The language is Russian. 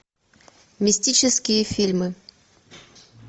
мистические фильмы